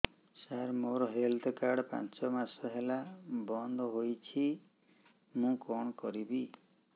ସାର ମୋର health card ପାଞ୍ଚ ମାସ ହେଲା ବଂଦ ହୋଇଛି ମୁଁ କଣ କରିବି